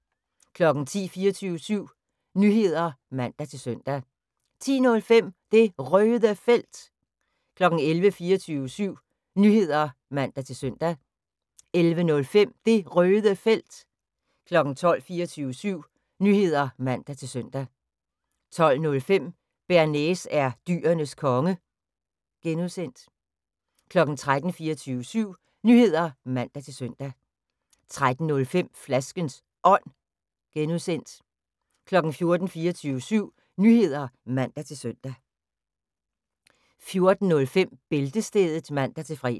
10:00: 24syv Nyheder (man-søn) 10:05: Det Røde Felt 11:00: 24syv Nyheder (man-søn) 11:05: Det Røde Felt 12:00: 24syv Nyheder (man-søn) 12:05: Bearnaise er Dyrenes Konge (G) 13:00: 24syv Nyheder (man-søn) 13:05: Flaskens Ånd (G) 14:00: 24syv Nyheder (man-søn) 14:05: Bæltestedet (man-fre)